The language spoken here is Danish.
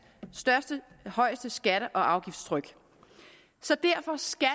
højeste skatte og afgiftstryk så derfor skal